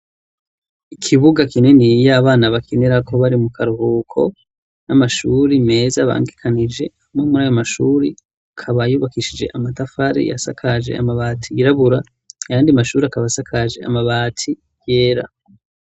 Ikibuga kininiya abana bakinirako bari mu karuhuko, n'amashuri meza abangikanije. Amwe muri ayo mashuri akaba yubakishije amatafari, asakaje amabati yirabura, ayandi mashuri akaba asakaje amabati yera.